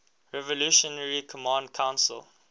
revolutionary command council